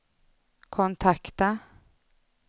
kontakta